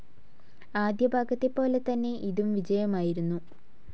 ആദ്യ ഭാഗത്തെ പോലെ തന്നെ ഇതും വിജയമായിരുന്നു.